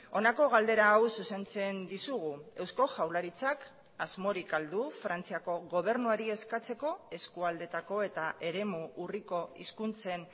honako galdera hau zuzentzen dizugu eusko jaurlaritzak asmorik ahal du frantziako gobernuari eskatzeko eskualdeetako eta eremu urriko hizkuntzen